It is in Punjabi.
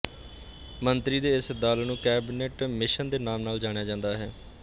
ਮੰਤਰੀਆਂ ਦੇ ਇਸ ਦਲ ਨੂੰ ਕੈਬੀਨਟ ਮਿਸ਼ਨ ਦੇ ਨਾਮ ਨਾਲ ਜਾਣਿਆ ਜਾਂਦਾ ਹੈ